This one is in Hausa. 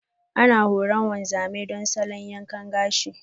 Ana horar wanzamai don salo yankan gashi.